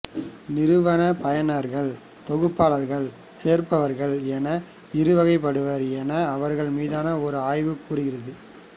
நிறுவன பயனர்கள் தொகுபாளர்கள் சேர்ப்பவர்கள் என இரு வகைப்படுவர் என அவர்கள் மீதான ஒரு ஆய்வு கூறுகிறது